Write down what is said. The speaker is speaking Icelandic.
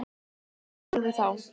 Hvers borði þá?